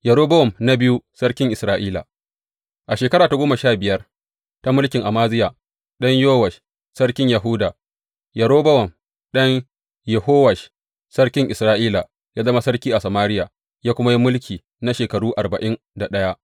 Yerobowam na biyu sarkin Isra’ila A shekara ta goma sha biyar ta mulkin Amaziya ɗan Yowash sarkin Yahuda, Yerobowam ɗan Yehowash sarkin Isra’ila ya zama sarki a Samariya, ya kuma yi mulki na shekaru arba’in da ɗaya.